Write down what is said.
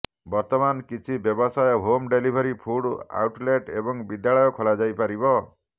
ବର୍ତ୍ତମାନ କିଛି ବ୍ୟବସାୟ ହୋମ୍ ଡେଲିଭରି ଫୁଡ୍ ଆଉଟଲେଟ୍ ଏବଂ ବିଦ୍ୟାଳୟ ଖୋଲାଯାଇପାରିବ